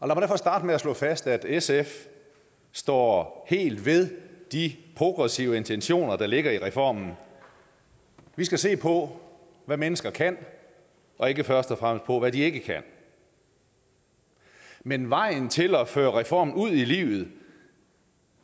mig derfor starte med at slå fast at sf står helt ved de progressive intentioner der ligger i reformen vi skal se på hvad mennesker kan og ikke først og fremmest på hvad de ikke kan men vejen til at føre reformen ud i livet